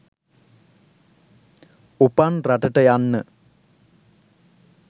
උපන් රටට යන්න